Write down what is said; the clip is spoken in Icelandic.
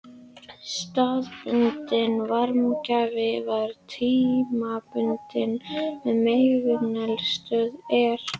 Þessi staðbundni varmagjafi varir tímabundið meðan megineldstöðin er virk.